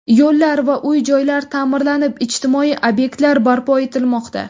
Yo‘llar va uy-joylar ta’mirlanib, ijtimoiy obyektlar barpo etilmoqda.